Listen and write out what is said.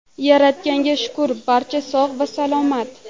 Yaratganga shukur barcha sog‘ va salomat.